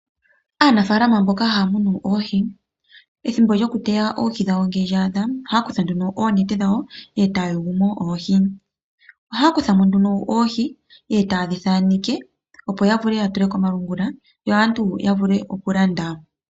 Aanafaalama mboka haamunu oohi ethimbo lyokuteya oohi dhawo ngele lyaadha ohaakutha nduno oonete dhawo etaayulumo oohi. Ohaakuthamo nduno oohi tayedhithaaneke opo yavule yatule komalungula yo aantu yavule okulanda.